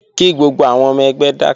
Kí gbogbo àwọn ọmọ ẹgbẹ́ dákẹ́!